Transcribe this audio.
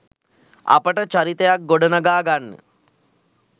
අපට චරිතයක් ගොඩනගා ගන්න